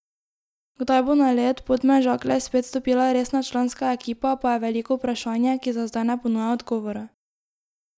Kdaj bo na led Podmežakle spet stopila resna članska ekipa, pa je veliko vprašanje, ki za zdaj ne ponuja odgovora.